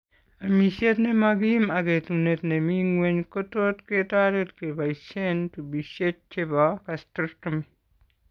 Amishet nemagim ak etunet nemi ng'weny kotot ketaret kebaishen tupishek chebo gastrostomy